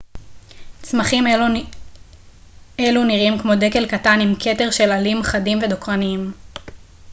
צמחים אלו נראים כמו דקל קטן עם כתר של עלים חדים ודוקרניים